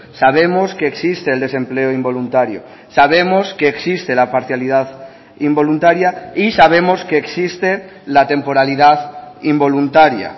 sabemos que existe el desempleo involuntario sabemos que existe la parcialidad involuntaria y sabemos que existe la temporalidad involuntaria